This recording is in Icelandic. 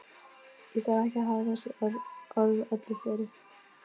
Ég þarf ekki að hafa þessi orð öllu fleiri.